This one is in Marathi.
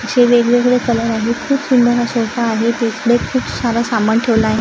जे वेगवेगळे कलर आहेत खूप सुंदर हा सोफा आहे तिकडे खूप सारं सामान ठेवलं आहे.